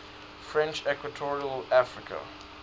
french equatorial africa